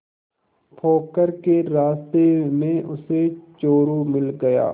पोखर के रास्ते में उसे चोरु मिल गया